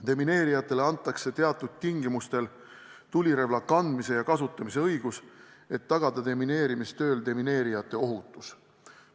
Demineerijatele antakse teatud tingimustel tulirelva kandmise ja kasutamise õigus, et tagada demineerijate tööohutus.